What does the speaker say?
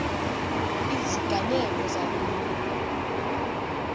iziganeko zaloo mini